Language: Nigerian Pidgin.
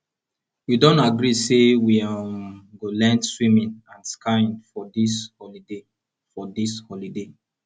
we don agree say we um go learn swimming and skiing for dis holiday for dis holiday